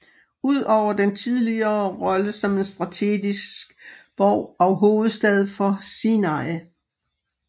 Ud over dens tidligere rolle som en strategisk borg og hovedstad for Sinai